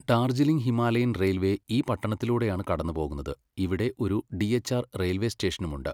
Darjeeling Himalayan railway ഈ പട്ടണത്തിലൂടെയാണ് കടന്നുപോകുന്നത്, ഇവിടെ ഒരു ഡിഎച്ച്ആർ റെയിൽവേ സ്റ്റേഷനുമുണ്ട്.